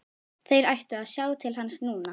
Þeir ættu að sjá til hans núna.